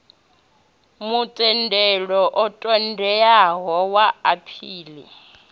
mutendelo u ṱoḓeaho wa aphili